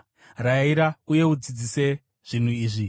Rayira uye udzidzise zvinhu izvi.